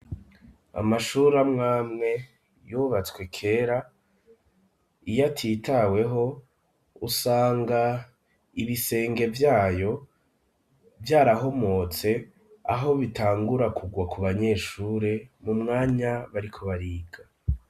Amashura amwamwe yubatswe kera iyatitaweho usanga ibisenge vyayo vyara homotse aho bitangura kurwa ku banyeshuri mu mwanya bariko bariga